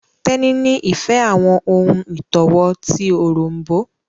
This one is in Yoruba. Teni ní ìfẹ àwọn ohùn itọwo ti Òrombó